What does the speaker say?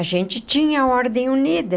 A gente tinha a Ordem Unida.